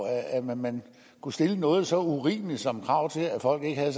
at man kunne stille noget så urimeligt som krav til at folk ikke havde